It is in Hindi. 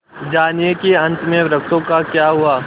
जानिए कि अंत में वृक्षों का क्या हुआ